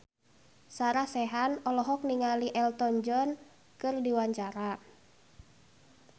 Sarah Sechan olohok ningali Elton John keur diwawancara